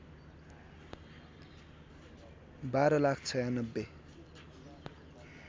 १२ lakh ९६